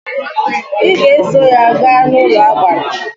Ị ga eso ya gaa n'ụlọagbara!